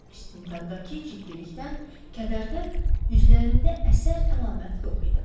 İstintaqdakı ciddilikdən, kədərdən üzlərində əsər əlaməti yox idi.